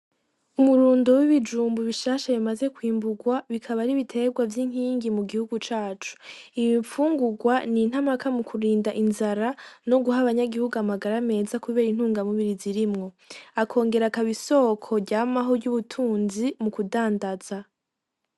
Umurundo w'ibijumbu bishasha bimaze kwimbugwa, bikaba ari ibitegwa vy'inkingi mu gihugu cacu. Iyo mfungugwa n'intamaka mu kurinda inzara no guha aba nyagihugu amagara meza kubera intunga mubiri zirimwo, akongera akaba isoko ryamaho ry'ubutunzi mu kudandaza.